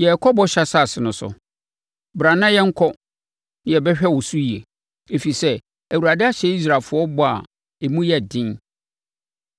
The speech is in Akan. yɛrekɔ Bɔhyɛ Asase no so. Bra na yɛnkɔ na yɛbɛhwɛ wo so yie; ɛfiri sɛ, Awurade ahyɛ Israelfoɔ bɔ a emu yɛ den!”